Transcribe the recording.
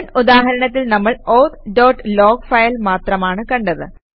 മുൻ ഉദാഹരണത്തിൽ നമ്മൾ ഔത്ത് ഡോട്ട് ലോഗ് ഫയൽ മാത്രമാണ് കണ്ടത്